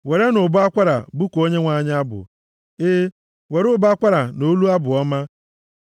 werenụ ụbọ akwara bụkuo Onyenwe anyị abụ, e, were ụbọ akwara na olu abụ ọma,